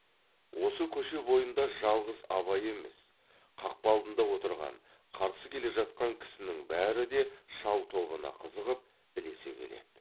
осы көше бойында жалғыз абай емес қақпа алдында отырған қарсы келе жатқан кісінің бәрі де шал тобына қызығып ілесе келеді